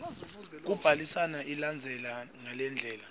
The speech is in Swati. yekubhalisa ilandzela ngalendlela